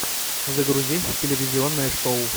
загрузи телевизионное шоу